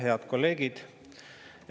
Head kolleegid!